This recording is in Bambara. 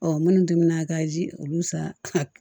Ɔ minnu tun bɛna ka ji olu san